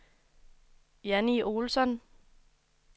Janni Olsson